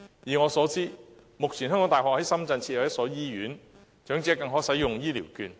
以我所知，目前香港大學在深圳設有一所醫院，長者更可在此使用醫療券。